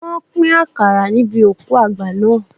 Wọ́n pín àkàrà níbi òkú àgbà naa